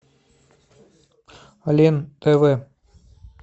лен тв